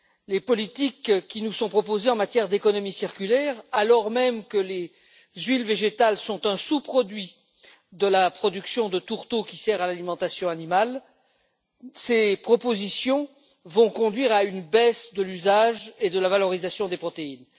Les politiques qui nous sont proposées en matière d'économie circulaire, alors même que les huiles végétales sont un sous produit de la production de tourteaux qui sert à l'alimentation animale vont conduire à une baisse de l'usage et de la valorisation des protéines.